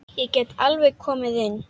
Ég get alveg komið inn.